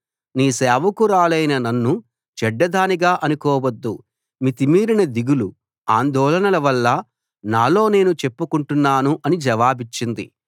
నీ సేవకురాలనైన నన్ను చెడ్డదానిగా అనుకోవద్దు మితిమీరిన దిగులు అందోళనల వల్ల నాలో నేను చెప్పుకుంటున్నాను అని జవాబిచ్చింది